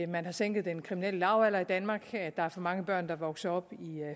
man har sænket den kriminelle lavalder i danmark at der er for mange børn der vokser op i